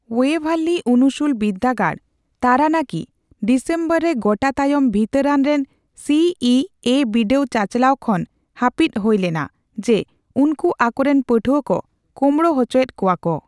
ᱳᱭᱮᱹᱵᱷᱟᱨᱞᱤ ᱩᱱᱩᱥᱩᱞ ᱵᱤᱫᱽᱫᱟᱹᱜᱟᱲ, ᱛᱟᱨᱟᱱᱟᱠᱤ, ᱰᱤᱥᱮᱢᱵᱚᱨ ᱨᱮ ᱜᱚᱴᱟ ᱛᱟᱭᱚᱢ ᱵᱷᱤᱛᱟᱹᱨᱟᱱ ᱥᱤ ᱤ ᱮᱹ ᱵᱤᱰᱟᱹᱣ ᱪᱟᱼᱪᱟᱞᱟᱣ ᱠᱷᱚᱱ ᱦᱟᱹᱯᱤᱫ ᱦᱳᱭ ᱞᱮᱱᱟ ᱡᱮ, ᱩᱱᱠᱩ ᱟᱠᱚᱨᱮᱱ ᱯᱟᱹᱴᱷᱩᱣᱟᱹ ᱠᱚ ᱠᱳᱢᱲᱳ ᱦᱚᱪᱚᱭᱮᱫ ᱠᱚᱣᱟ ᱠᱚ ᱾